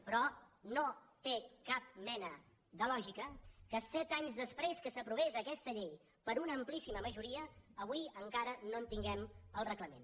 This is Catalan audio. però no té cap mena de lògica que set anys després que s’aprovés aquesta llei per una amplíssima majoria avui encara no en tinguem el reglament